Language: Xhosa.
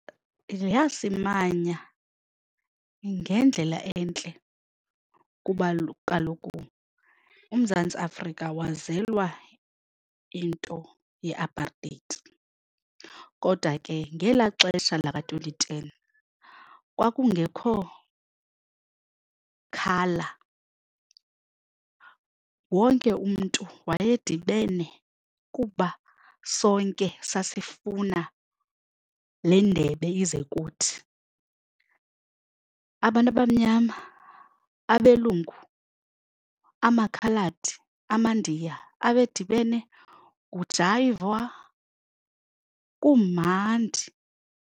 Yasimanya ngendlela entle kuba kaloku uMzantsi Afrika wazelwa into ye-apartheid kodwa ke ngelaa xesha laka-twenty ten kwakungekho colour, wonke umntu wayedibene kuba sonke sasifuna le ndebe ize kuthi. Abantu abamnyama, abelungu, amaKhaladi, amaNdiya abe edibene kujayivwa kumandi.